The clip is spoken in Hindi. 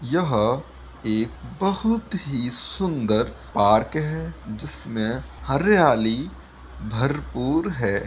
यह एक बहुत ही सुन्दर पार्क है जिसमें हरियाली भरपूर है।